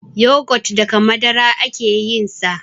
yogot daga Madara ake yinsa